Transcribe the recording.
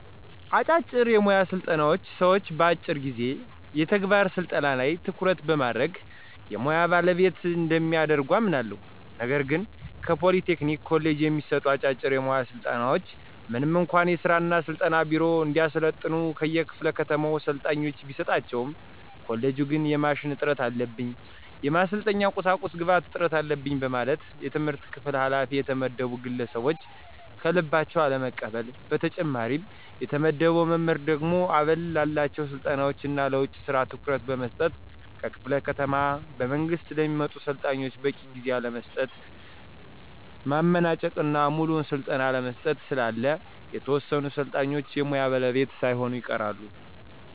አጫጭር የሙያ ስልጠናዎች ሰዎችን በአጭር ጊዜ የተግባር ስልጠና ላይ ትኩረት በማድረግ የሙያ ባለቤት እንደሚያደርጉ አምናለሁ። ነገር ግን ከፖሊ ቴክኒክ ኮሌጅ የሚሰጡ አጫጭር የሙያ ስልጠናዎች ምንም እንኳ የሥራ እና ስልጠና ቢሮ እንዲያሰለጥኑ ከየክፋለ ከተማው ሰልጣኞችን ቢሰጣቸውም ኮሌጁ ግን የማሽን እጥረት አለብኝ፣ የማሰልጠኛ ቁሳቁስ ግብአት እጥረት አለበኝ በማለት የትምህርት ክፍል ኋላፊ የተመደቡ ግለሰቦች ከልባቸው አለመቀበል። በተጨማሪም የተመደበው መምህር ደግሞ አበል ላላቸው ስልጠናዎች እና ለውጭ ስራ ትኩረት በመስጠት ከክፍለ ከተማ በመንግስት ለሚመጡ ሰልጣኞች በቂ ጊዜ አለመስጠት፣ ማመናጨቅ እና ሙሉውን ስልጠና አለመስጠት ስላለ የተወሰኑ ሰልጣኞች የሙያ ባለቤት ሳይሆኑ ይቀራሉ።